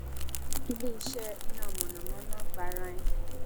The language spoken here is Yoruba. ileiṣẹ iná mọnamọná gbarain